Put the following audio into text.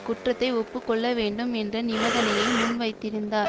குற்றத்தை ஒப்பு கொள்ள வேண்டும் என்ற நிபந்தனையை முன்வைத்திருந்தார்